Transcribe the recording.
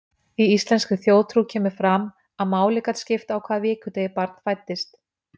Í íslenskri þjóðtrú kemur fram að máli gat skipt á hvaða vikudegi barn fæddist.